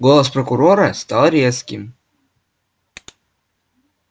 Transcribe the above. голос прокурора стал резким